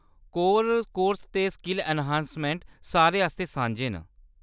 Corps course ते skill enhancement सारे आस्तै सांझे न ।